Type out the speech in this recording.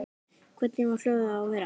Hvernig á hjólið að vera?